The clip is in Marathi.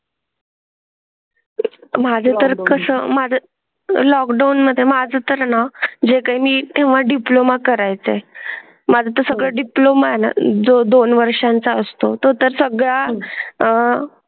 माझर कसं लॉकडाऊन मध्ये माझं तर जे काही मी तेव्हा डिप्लोमा करायचा आहे. माझे सगळे डिप्लोमा ला जो दोन वर्षांचा असतो तर सगळे आह.